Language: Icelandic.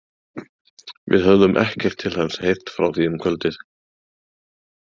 Við höfðum ekkert til hans heyrt frá því um kvöldið.